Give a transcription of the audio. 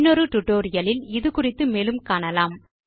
இன்னொரு டியூட்டோரியல் இல் இது குறித்து மேலும் காணலாம்